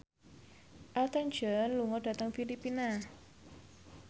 Elton John lunga dhateng Filipina